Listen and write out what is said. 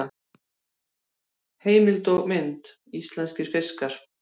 Heimild og mynd: Íslenskir fiskar.